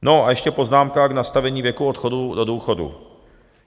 No a ještě poznámka k nastavení věku odchodu do důchodu.